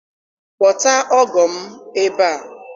Kpọta ọgọ m ebe a!